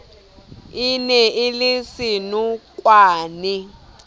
e ne e le senokwane